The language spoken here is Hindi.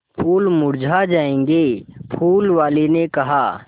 फूल मुरझा जायेंगे फूल वाली ने कहा